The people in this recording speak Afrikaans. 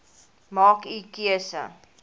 maak u keuse